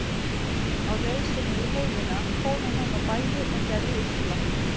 Á leið sinni í heiðina fór hann heim á bæi og gerði usla.